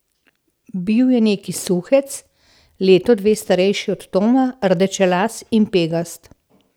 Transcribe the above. Bil je neki suhec, leto, dve starejši od Toma, rdečelas in pegast.